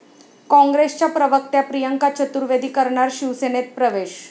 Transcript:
काँग्रेसच्या प्रवक्त्या प्रियंका चतुर्वेदी करणार शिवसेनेत प्रवेश